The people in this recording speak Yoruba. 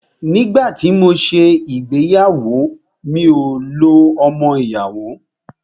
Nígbà tí mọ ṣé ìgbéyàwó, mi ò lo ọmọ ìyàwó.